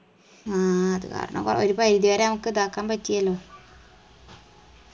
ആ അത് കാരണം ഒരു പരിധി വരെ നമക്ക് ഇതാക്കാൻ പറ്റിയല്ലോ